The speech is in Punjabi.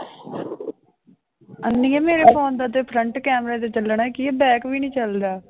ਅੰਨੀਏ ਮੇਰੇ phone ਦਾ ਤੇ front camera ਜੇ ਚੱਲਣਾ ਕੀ ਹੈ back ਵੀ ਨੀ ਚੱਲਦਾ।